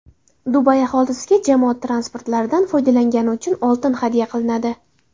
Dubay aholisiga jamoat transportlaridan foydalangani uchun oltin hadya qilinadi.